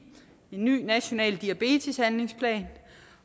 en ny national diabeteshandlingsplan